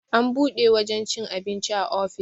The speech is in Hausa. an buɗe wajen cin abinci a ofis